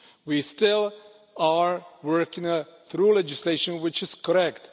We still are working through legislation which is correct.